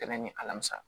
Dɛmɛ ni alamisa